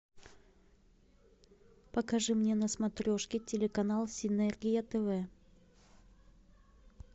покажи мне на смотрешке телеканал синергия тв